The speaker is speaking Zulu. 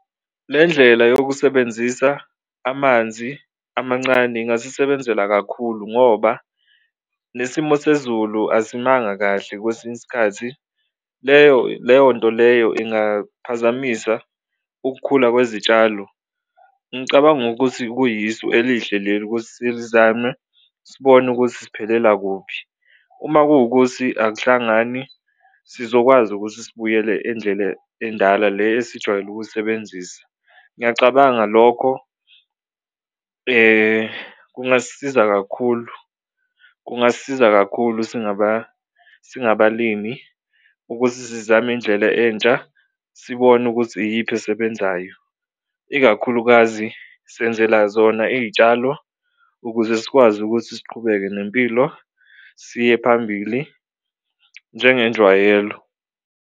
Le ndlela yokusebenzisa amanzi amancane ingasisebenzela kakhulu ngoba le simo sezulu asimanga kahle kwesinye isikhathi leyo leyonto leyo ingaphazamisa ukukhula kwezitshalo, ngicabanga ukuthi kuyisu elihle leli ukuthi silizame sibone ukuthi siphelela kuphi. Uma kuwukuthi akuhlangani sizokwazi ukuthi sibuyele endlele endala le esijwayele ukusebenzisa, ngiyacabanga lokho kungasisiza kakhulu, kungasisiza kakhulu singabalimi ukuthi sizame indlela entsha sibone ukuthi iyiphi esebenzayo. Ikakhulukazi senzela zona iy'tshalo ukuze sikwazi ukuthi siqhubeke nempilo siye phambili njengenjwayelo.